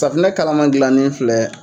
Safinɛ kalama dilannen filɛ